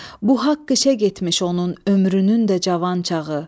Bu haqq işə getmiş onun ömrünün də cavan çağı.